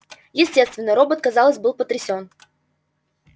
естественно робот казалось был потрясён